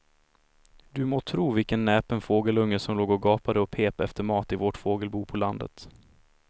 Du må tro vilken näpen fågelunge som låg och gapade och pep efter mat i vårt fågelbo på landet.